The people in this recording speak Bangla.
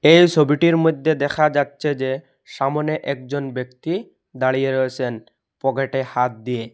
এই সবিটির মইধ্যে দেখা যাচ্ছে যে সামনে একজন ব্যক্তি দাঁড়িয়ে রয়েসেন পকেটে হাত দিয়ে।